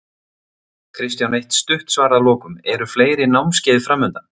Kristján eitt stutt svar að lokum, eru fleiri námskeið framundan?